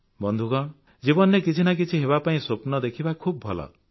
ବନ୍ଧୁଗଣ ଜୀବନରେ କିଛି ନା କିଛି ହେବାପାଇଁ ସ୍ୱପ୍ନ ଦେଖିବା ଖୁବ୍ ଭଲ